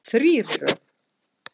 Þrír í röð.